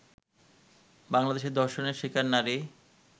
বাংলাদেশে ধর্ষণের শিকার নারী